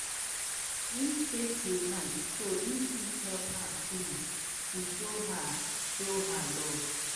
him stay till night so him fit help her clean to show her show her love